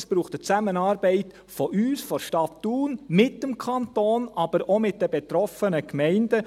Es braucht eine Zusammenarbeit von uns, der Stadt Thun, mit dem Kanton, aber auch mit den betroffenen Gemeinden.